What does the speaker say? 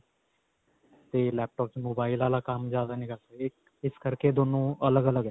ਤੇ laptop 'ਚ mobile ਵਾਲਾ ਕੰਮ ਜਿਆਦਾ ਨਹੀ ਕਰ ਸਕਦੇ, ਇਸ ਕਰਕੇ ਦੋਨੋ ਅਲੱਗ-ਅਲੱਗ ਹੈ.